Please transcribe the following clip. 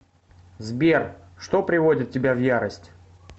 сбер что приводит тебя в ярость